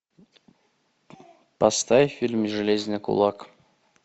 поставь фильм железный кулак